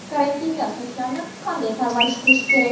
Karantinda sochlarni qanday parvarish qilish kerak?